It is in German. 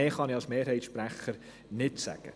Mehr kann ich als Mehrheitssprecher nicht sagen.